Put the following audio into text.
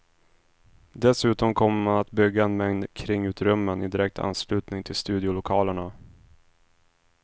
Dessutom kommer man att bygga en mängd kringutrymmen i direkt anslutning till studiolokalerna.